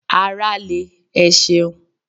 Ara le, ẹ ṣeun.